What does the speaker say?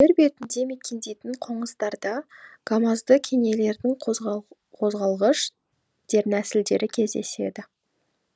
жер бетінде мекендейтін қоңыздарда гамазды кенелердің қозғалғыш дернәсілдері кездеседі